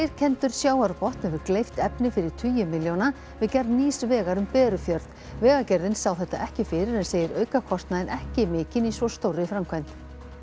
leirkenndur sjávarbotn hefur gleypt efni fyrir tugi milljóna við gerð nýs vegar um Berufjörð vegagerðin sá þetta ekki fyrir en segir aukakostnaðinn ekki mikinn í svo stórri framkvæmd